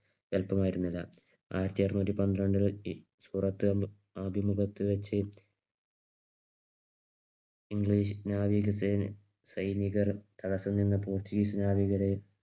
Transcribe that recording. എളുപ്പമായിരുന്നില്ല ആയിരത്തി അറുനൂറ്റി പന്ത്രണ്ട് സൂററ്റ് ആദ്യം മുതൽക്ക്‌വെച്ച് ഇംഗ്ലീഷ് നവീകസൈനികർ തടസ്സം നിന്ന് പോർച്ചുഗീസ് നാവികരെ